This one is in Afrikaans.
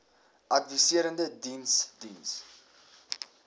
adviserende diens diens